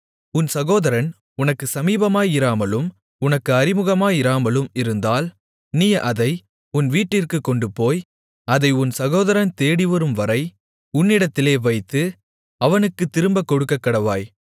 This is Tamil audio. உன் சகோதரன் உனக்குச் சமீபமாயிராமலும் உனக்கு அறிமுகமாயிராமலும் இருந்தால் நீ அதை உன் வீட்டிற்குக் கொண்டுபோய் அதை உன் சகோதரன் தேடிவரும்வரை உன்னிடத்திலே வைத்து அவனுக்குத் திரும்பக் கொடுக்கக்கடவாய்